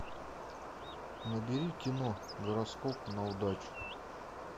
набери кино гороскоп на удачу